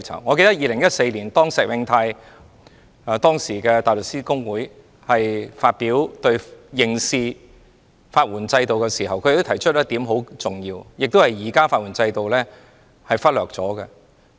我記得在2014年，時任香港大律師公會主席石永泰就刑事法援制度發言時提出非常重要的一點，也是現時法援制度忽略的一點。